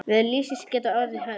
Veður lífsins geta orðið hörð.